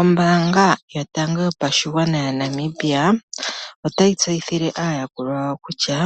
Ombaanga yotango yopashigwana ya Namibia otayi tseyithile aayakulwa yawo kutya,